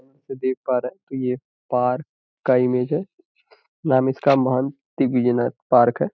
ये देख पा रहे हैं ये पार्क का इमेज है। नाम इसका महंत पार्क है।